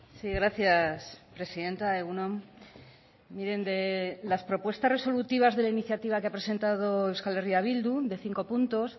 sí gracias presidenta egun on miren de las propuestas resolutivas de la iniciativa que ha presentado euskal herria bildu de cinco puntos